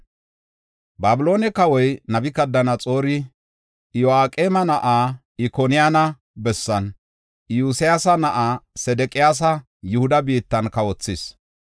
Babiloone kawoy Nabukadanaxoori Iyo7aqeema na7aa Ikoniyaana bessan Iyosyaasa na7aa Sedeqiyaasa Yihuda biittan kawothis.